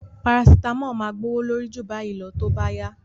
Parasitamọ́ọ̀ máa gbówó lórí ju báyìí lọ tí ó bá yá